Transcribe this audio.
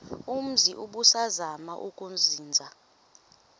umzi ubusazema ukuzinza